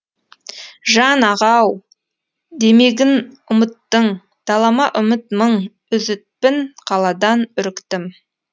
жан аға ау демегін ұмыттың далама үміт мың үзітпін қаладан үріктім